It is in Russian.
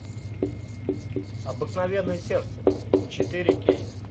обыкновенное сердце четыре кей